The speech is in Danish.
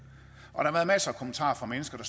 og der har været masser af kommentarer fra mennesker